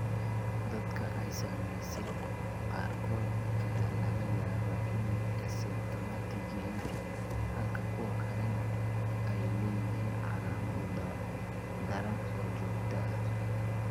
Dadka ay saameysay qaarkood ayaa laga yaabaa inay asymptomatic yihiin halka kuwa kalena ay leeyihiin calaamado daran oo joogto ah.